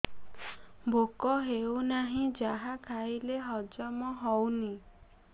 ଭୋକ ହେଉନାହିଁ ଯାହା ଖାଇଲେ ହଜମ ହଉନି